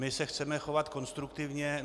My se chceme chovat konstruktivně.